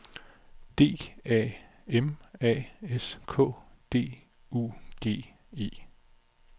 D A M A S K D U G E